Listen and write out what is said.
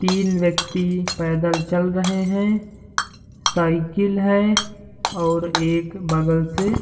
तीन व्यक्ति पैदल चल रहे हैं साइकिल है और एक बगल से --